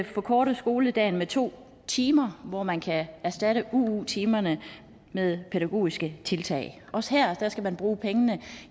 forkorte skoledagen med to timer hvor man kan erstatte uu timerne med pædagogiske tiltag også her skal man bruge pengene